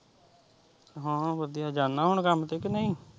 ਹਾਂ ਵਧੀਆ ਜਾਨਾ ਹੁਣ ਕੰਮ ਤੇ ਕੀ ਨਹੀਂ।